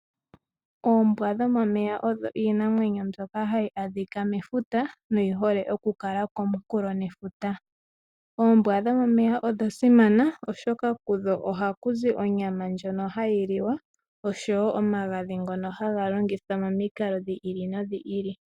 Oombwa dhomomeya odho iinamwenyo mbyoka hayi adhika mefuta na odhi hole oku kala komunkulo gwefuta. Odha simana molwaashoka kudho ohaku zi onyama ndjoka hayi liwa nosho wo omagadhi ngono haga longithwa momikalo dhi ili nodhi ili.